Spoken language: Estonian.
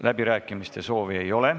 Läbirääkimiste soovi ei ole.